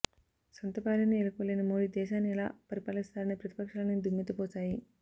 సొంత భార్యనే ఏలుకోలేని మోడీ దేశాన్ని ఎలా పరిపాలిస్తారని ప్రతిపక్షాలన్నీ దుమ్మెత్తిపోశాయి